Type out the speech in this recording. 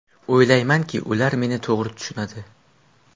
O‘ylaymanki, ular meni to‘g‘ri tushunadi.